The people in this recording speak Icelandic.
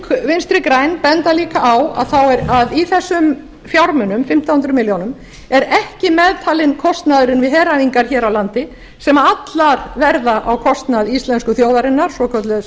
ung vinstri græn benda líka á að í þessum fjármunum fimmtán hundruð milljóna er ekki meðtalinn kostnaðurinn við heræfingar hér á landi sem allar verða á kostnað íslensku þjóðarinnar svokallaðs